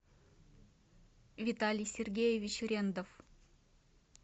виталий сергеевич рендов